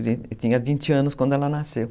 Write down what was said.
Ele tinha vinte anos quando ela nasceu.